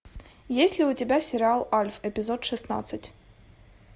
есть ли у тебя сериал альф эпизод шестнадцать